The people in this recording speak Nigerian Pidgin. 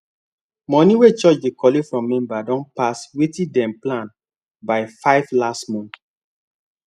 money wey church dey collect from members don pass wetin dem plan by 5 last month